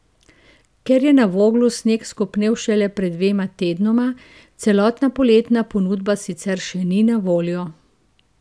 Ker je na Voglu sneg skopnel šele pred dvema tednoma, celotna poletna ponudba sicer še ni na voljo.